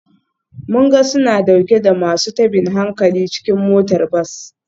Mun ga suna dauke da masu tabin hankali cikin motar bas.